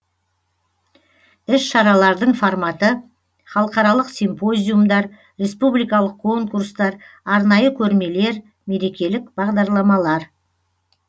іс шаралардың форматы халықаралық симпозиумдар республикалық конкурстар арнайы көрмелер мерекелік бағдарламалар